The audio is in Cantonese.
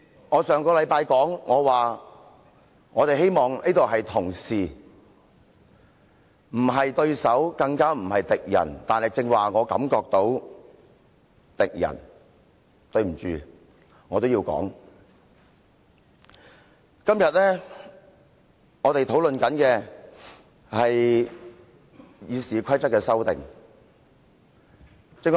我上星期說我希望這裏大家是同事，不是對手，更不是敵人，但我剛才感覺到的是敵人，即使我覺得抱歉，但我也要這樣說。